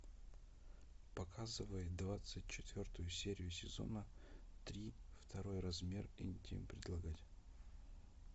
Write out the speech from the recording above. показывай двадцать четвертую серию сезона три второй размер интим предлагать